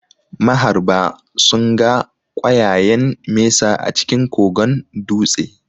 Maharba sunga ƙwayayen mesa a cikin kogon dutse